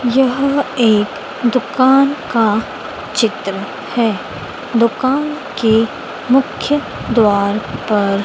यह एक दुकान का चित्र है दुकान के मुख्य द्वार पर--